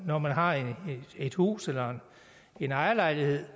når man har et hus eller en ejerlejlighed